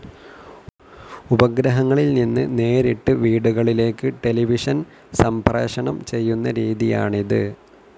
ഉപഗ്രഹങ്ങളിൽ നിന്ന് നേരിട്ട് വീടുകളിലേക്ക് ടെലിവിഷൻ സംപ്രേഷണം ചെയ്യുന്ന രീതിയാണിത്.